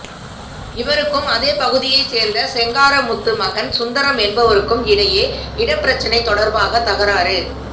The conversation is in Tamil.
இவருக்கும் அதேபகுதியைச் சோ்ந்த செங்காரமுத்து மகன் சுந்தரம் என்பவருக்கும் இடையே இடப்பிரச்னை தொடா்பாக தகராறு